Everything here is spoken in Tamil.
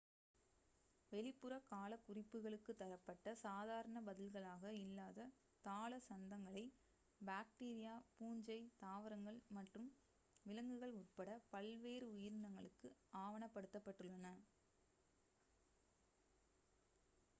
வெளிப்புற கால குறிப்புகளுக்கு தரப்பட்ட சாதாரண பதில்களாக இல்லாத தாள சந்தங்களை பாக்டீரியா பூஞ்சை தாவரங்கள் மற்றும் விலங்குகள் உட்பட பல்வேறு உயிரினங்களுக்கு ஆவணப் படுத்தப்பட்டுள்ளன